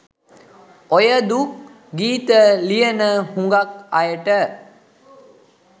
ඔය දුක් ගීත ලියන හුඟක් අයට